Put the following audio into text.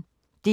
DR P1